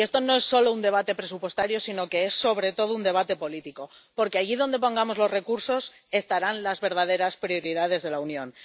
Y esto no es solo un debate presupuestario, sino que es, sobre todo, un debate político, porque allí donde pongamos los recursos estarán las verdaderas prioridades de la Unión.